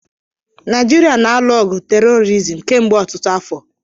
Naijiria na-alụ ọgụ tèrọrizim kemgbe ọtụtụ afọ